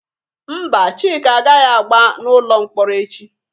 Mba, Chika agaghị agba n'ụlọ mkpọrọ echi